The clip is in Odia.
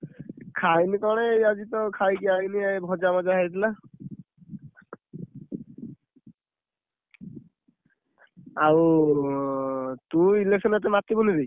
ଖାଇଲି କଣ ଏଇ ଆଜିତ ଖାଇକି ଆଇଲି ଏଇ ଭଜା ଫଜା ହେଇଥିଲା। ଆଉ ଉଁ, ତୁ election ରେ ଏତେ ମାତିବୁନି ରେ।